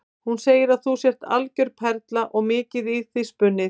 Hún segir að þú sért algjör perla og mikið í þig spunnið.